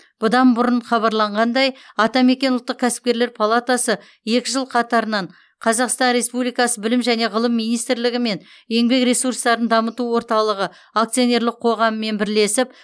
бұдан бұрын хабарланғандай атамекен ұлттық кәсіпкерлер палатасы екі жыл қатарынан қазақстан республикасы білім және ғылым министрлігі мен еңбек ресурстарын дамыту орталығы акционерлік қоғамымен бірлесеп